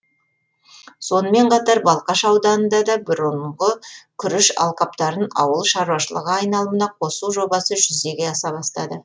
сонымен қатар балқаш ауданында да бұрынғы күріш алқаптарын ауыл шаруашылығы айналымына қосу жобасы жүзеге аса бастады